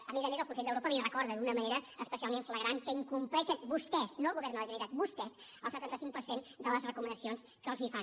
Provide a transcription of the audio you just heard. a més a més el consell d’europa els recorda d’una manera especialment flagrant que incompleixen vostès no el govern de la generalitat vostès el setanta cinc per cent de les recomanacions que els fan